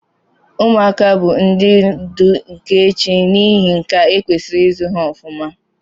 Ụmuaka bu ndi ndu nka echi na ihi nkea ekwesiri izu ha ọfụma.